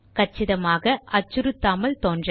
கச்சிதமாக அச்சுறுத்தாமல் தோன்ற